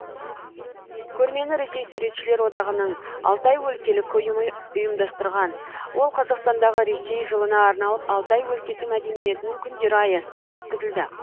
көрмені ресей суретшілер одағының алтай өлкелік ұйымы ұйымдастырған ол қазақстандағы ресей жылына арналып алтай өлкесі мәдениетінің күндері аясында өткізілді